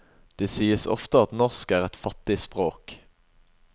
Det sies ofte at norsk er et fattig språk.